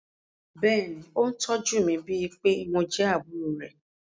Bẹ́ẹ̀ ni, ó tọ́jú mi, bíi pé mo jẹ́ àbúrò rẹ̀.